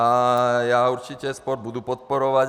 A já určitě sport budu podporovat.